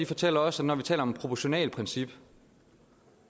fortæller os når vi taler om proportionalitetsprincip